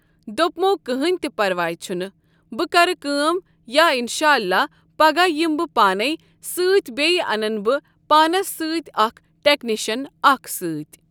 دوٚپمو کٕہٕنۍ تہِ پرواے چھ نہٕ بہٕ کرٕ کٲم یا انشاءاللہ پگہہ یِمہٕ بہٕ پانے سۭتۍ بیٚیہِ انہٕ بہٕ پانس سۭتۍ اکھ ٹیکنیشن اکھ سۭتۍ۔